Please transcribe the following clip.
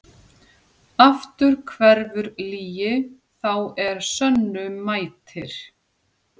Aftur hverfur lygi þá er sönnu mætir.